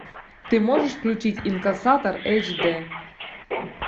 ты можешь включить инкассатор эйч д